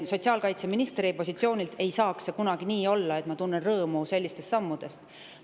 Sotsiaalkaitseministri positsioonilt ei saakski kunagi nii olla, et ma tunnen sellistest sammudest rõõmu.